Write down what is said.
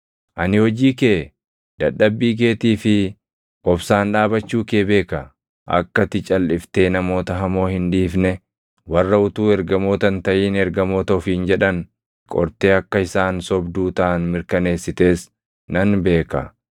Ani hojii kee, dadhabbii keetii fi obsaan dhaabachuu kee beeka. Akka ati calʼiftee namoota hamoo hin dhiifne, warra utuu ergamoota hin taʼin ergamoota ofiin jedhan qortee akka isaan sobduu taʼan mirkaneessites nan beeka.